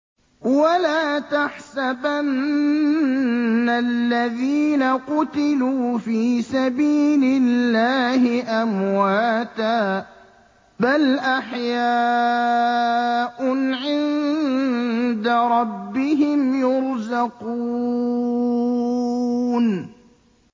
وَلَا تَحْسَبَنَّ الَّذِينَ قُتِلُوا فِي سَبِيلِ اللَّهِ أَمْوَاتًا ۚ بَلْ أَحْيَاءٌ عِندَ رَبِّهِمْ يُرْزَقُونَ